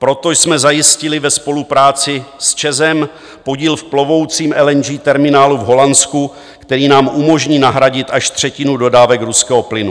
Proto jsme zajistili ve spolupráci s ČEZ podíl v plovoucím LNG terminálu v Holandsku, který nám umožní nahradit až třetinu dodávek ruského plynu.